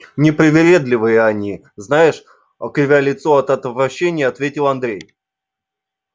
непривередливые они знаешь кривя лицо от отвращения ответил андрей